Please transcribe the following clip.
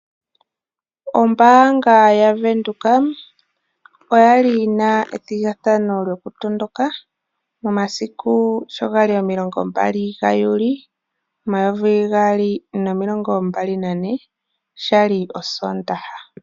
Ombaanga ya Venduka oya li yina ethigathano lyo kutondoka momasiku sho gali 20 Juli 2024 shali osoondaha.